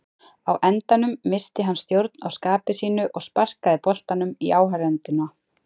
Á endanum missti hann stjórn á skapi sínu og sparkaði boltanum í áhorfendurna.